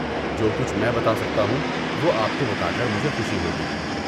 جو کچھ میں بتا سکتا ہوں وہ آپ کو بتا کر مجھے خوشی ہوگی۔